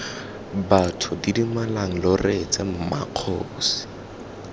batho didimalang lo reetse mmakgosi